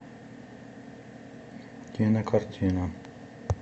кинокартина